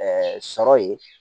sɔrɔ ye